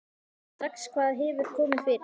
Sér strax hvað hefur komið fyrir.